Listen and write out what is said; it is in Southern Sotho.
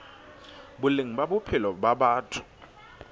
boleng ba bophelo ba batho